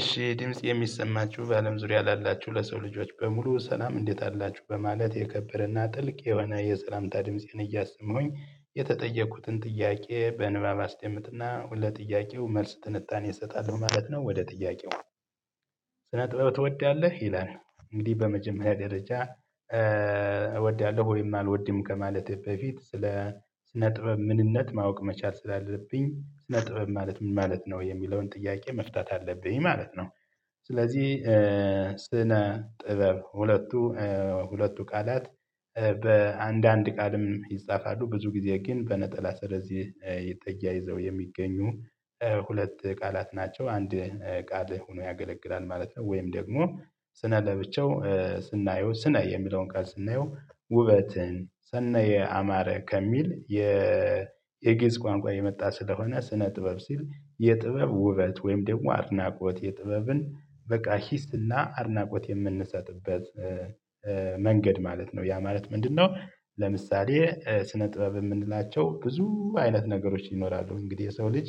እሺ ድምፄ የሚሰማችሁ በአለም ዙሪያ ላላችሁ ለሰው ልጆች በሙሉ ሰላም እንዴት አላችሁ በማለት የከበረና ጥልቅ የሆነ የሰላምታ ድምፄን እያሰማሁኝ የተጠየኩትን ጥያቄ በንባብ አስቀምጥና ሁለት ጥያቄው መልስ ትንጣን ይሰጣል ማለት ነው። ወደ ጥያቄው ስነ ጥበብ ትወዳለህ ይላል? እንግዲህ በመጀመሪያ ደረጃ እወዳለሁ ወይም አልወድም ከማለቴ በፊት ስለ ስነ ጥበብ ምንነት ማወቅ መቻል ስላለብኝ ስነ ጥበብ ማለት ምን ማለት ነው የሚለውን ጥያቄ መፍታት አለብኝ ማለት ነው። ስለዚህ ስነ ጥበብ ሁለቱ ሁለቱ ቃላት በአንድ አንድ ቃልም ይጻፋሉ ብዙ ጊዜ ግን በነጠላ ስረዝ ተያይዘው የሚገኙ ሁለት ቃላት ናቸው አንድ ቃል ሆኖ ያገለግላል ማለት ነው። ወይም ደግሞ ስነ ለብቻው ስናየው ስነ የሚለውን ቀን ስናየው ውበትን ሰነየ አማረ ከሚል የግዕዝ ቋንቋ የመጣ ስለሆነ ስነ ጥበብ ሲል የጥበብ ውበት ወይም ደግሞ አድናቆት የጥበብን በቃ ሂስና አድናቆት የምንሰጥበት መንገድ ማለት ነው። ያ ማለት ምንድነው? ለምሳሌ ስነ ጥበብ የምንላቸው ብዙ አይነት ነገሮች ይኖራሉ እንግዲህ የሰው ልጅ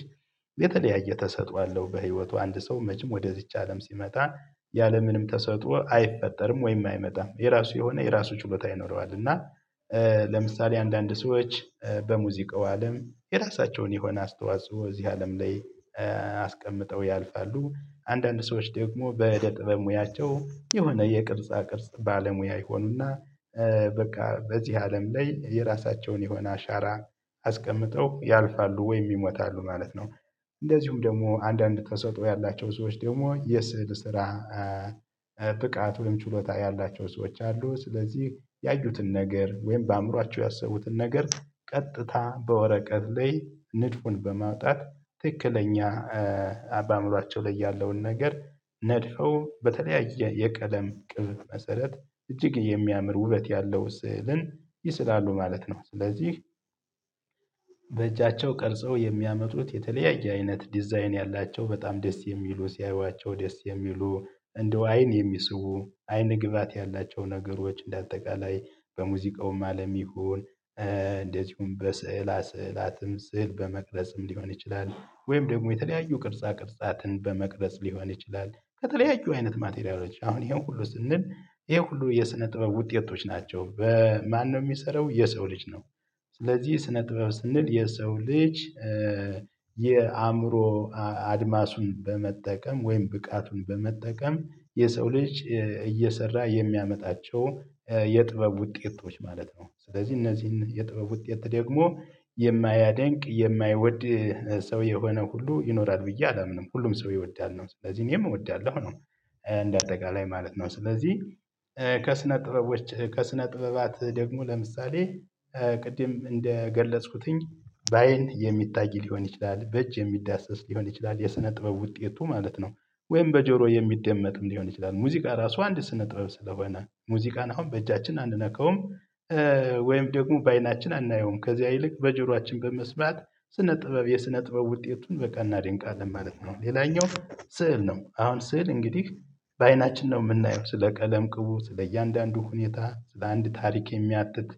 የተለያየ ተሰጥኦ አለው። በህይወቱ አንድ ሰው መቼም ወደዚች አለም ሲመጣ ያለምንም ተሰጥኦ አይፈጠርም ወይም አይመጣም የራሱ የሆነ የራሱ ችሎታ ይኖረዋል። እና ለምሳሌ አንዳንድ ሰዎች በሙዚቃው አለም የራሳቸውን የሆነ አስተዋጽኦ እዚህ አለም ላይ አስቀምጠው ያልፋሉ። አንዳንድ ሰዎች ደግሞ በእደ ጥበብ ሙያቸው የሆነ የቅርጻ ቅርጽ ባለሙያ ይሆኑና በቃ በዚህ አለም ላይ የራሳቸውን የሆነ አሻራ አስቀምጠው ያልፋሉ ወይም ይሞታሉ ማለት ነው። እንደዚሁም ደግሞ አንዳንድ ተሰጥኦ ያላቸው ሰዎች ደግሞ የስዕል ስራ ብቃት ወይም ችሎታ ያላቸው ሰዎች አሉ። ስለዚህ ያዩትን ነገር ወይም በአእምሮአቸው ያሰቡትን ነገር ቀጥታ በወረቀት ላይ ንድፉን በማውጣት ትክክለኛ በአእምሯቸው ላይ ያለውን ነገር ነድፈው በተለያየ የቀለም ቅብ መሰረት እጅግ የሚያምር ውበት ያለው ስዕልን ይስላሉ ማለት ነው። ስለዚህ በእጃቸው ቀርጸው የሚያመጡት የተለያየ አይነት ዲዛይን ያላቸው በጣም ደስ የሚሉ ሲያዩዋቸው ደስ የሚሉ እንደው አይን የሚስቡ አይን ግብአት ያላቸው ነገሮች እንደ አጠቃላይ በሙዚቃውም አለም ይሁን እንደዚሁም በስዕላ ስዕላትም ስዕል በመቅረጽም ሊሆን ይችላል ወይም ደግሞ የተለያዩ ቅርጻ ቅርጻትን በመቅረጽ ሊሆን ይችላል ከተለያዩ አይነት ማቴሪያሎች አሁን ይሄን ሁሉ ስንል ይሄ ሁሉ የስነ ጥበብ ውጤቶች ናቸው። በማን ነው የሚሰራው የሰው ልጅ ነው። ስለዚህ ስነ ጥበብ ስንል የሰው ልጅ የአእምሮ አድማሱን በመጠቀም ወይም ብቃቱን በመጠቀም የሰው ልጅ እየሰራ የሚያመጣቸው የጥበብ ውጤቶች ማለት ነው። ስለዚህ እነዚህን የጥበብ ውጤት ደግሞ የማያደንቅ የማይወድ ሰው የሆነ ሁሉ ይኖራል ብዬ አላምንም። ሁሉም ሰው ይወዳል ነው ስለዚህ እኔም እወዳለሁ ነው። እንደ አጠቃላይ ማለት ነው ስለዚህ ከስነ ጥበቦች ከስነ ጥበባት ደግሞ ለምሳሌ ቅድም እንደገለጽኩትኝ በአይን የሚታይ ሊሆን ይችላል በእጅ የሚዳሰስ ሊሆን ይችላል የሰነ ጥበብ ውጤቱ ማለት ነው። ወይም በጆሮ የሚደመጥም ሊሆን ይችላል ሙዚቃ ራሱ አንድ ስነጥበብ ስለሆነ ሙዚቃን አሁን በእጃችን አንነካውም። ወይም ደግሞ በአይናችን አናየውም ከዚያ ይልቅ በጆሮአችን በመስማት ስነ ጥበብ የስነ ጥበብ ውጤቱን በቃ እናደንቃለን ማለት ነው። ሌላኛው ስዕል ነው አሁን ስዕል እንግዲህ በአይናችን ነው የምናየው ስለ ቀለም ቅቡ ስለ እያንዳንዱ ሁኔታ ስለ አንድ ታሪክ የሚያትት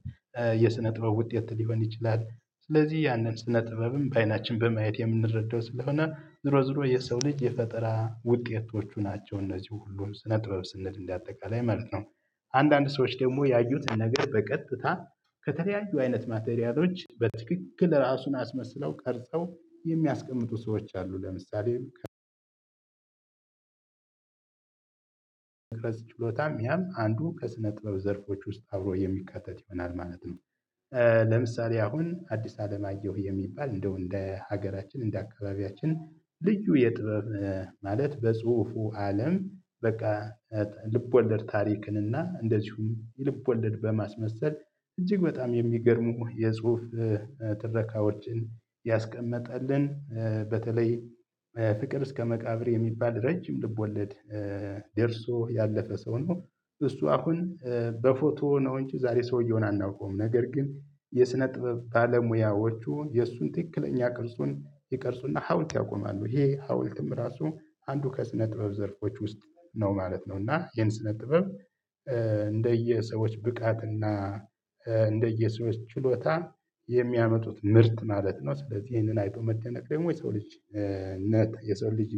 የስነ ጥበብ ውጤት ሊሆን ይችላል። ስለዚህ ያንን ስነ ጥበብም በአይናችን በማየት የምንረዳው ስለሆነ ዞሮ ዞሮ የሰው ልጅ የፈጠራ ውጤቶቹ ናቸው እነዚህ ሁሉን ስነ ጥበብ ስንል እንደ አጠቃላይ ማለት ነው። አንዳንድ ሰዎች ደግሞ ያዩትን ነገር በቀጥታ ከተለያዩ አይነት ማቴሪያሎች በትክክል ራሱን አስመስለው ቀርጸው የሚያስቀምጡ ሰዎች አሉ። ለምሳሌ መግለጽ ችሎታም ያም አንዱ ከስነ ጥበብ ዘርፎች ውስጥ አብሮ የሚካተት ይሆናል ማለት ነው። ለምሳሌ አሁን አዲስ አለም አየሁ የሚባል እንደው እንደ ሀገራችን እንደ አካባቢያችን ልዩ የጥበብ ማለት በጽሁፉ አለም በቃ ልብ ወለድ ታሪክን እና እንደዚሁም ልብ ወለድ በማስመሰል እጅግ በጣም የሚገርሙ የጽሁፍ ትረካዎችን ያስቀመጠልን በተለይ ፍቅር እስከ መቃብር የሚባል ረጅም ልብ ወለድ ደርሶ ያለፈ ሰው ነው። እሱ አሁን በፎቶ ነው እንጂ ዛሬ ሰውየውን አናውቀውም ነገር ግን የስነ ጥበብ ባለ ሙያዎቹ የእሱን ትክክለኛ ቅርጹን ይቀርጹና ሀውልት ያቆማሉ ይሄ ሀውልትም ራሱ አንዱ ከስነ ጥበብ ዘርፎች ውስጥ ነው ማለት ነው። እና ይሄን ስነ ጥበብ እንደየሰዎች ብቃት እና እንደየሰዎች ችሎታ የሚያመጡት ምርት ማለት ነው። ስለዚህ ይሄንን አይቶ መደነቅ ደግሞ የሰው ልጅነት የሰው ልጅ